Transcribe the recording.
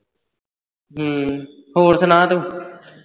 ਹਮ ਹੋਰ ਸੁਣਾ ਤੂੰ?